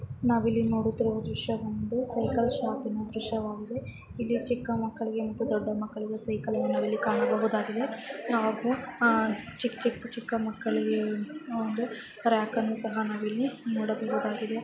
ನಾವು ಇಲ್ಲಿ ನುಡುತ್ತಿರುವ ದೃಶ್ಯ ಒಂದು ಸೈಕಲ್ ಶಾಪ್ ದೃಶ್ಯ ಆಗಿದೆ. ಇಲ್ಲಿ ಚಿಕ್ಕ ಮಕ್ಕಳಿಗೆ ಮತ್ತು ದೂಡ್ಡ ಮಕ್ಕಳಿಗೇ ಸೈಕಲ್ ಅನು ಕಣಬಹುದಾಗಿದೆ. ನಾವು ಚಿಕ್ಕ ಮಕ್ಕಳಿಗೆ ಒಂದು ರಾಕ್ ಅನು ಸಹ ನೂಡಬಹುದಾಗಿದೆ.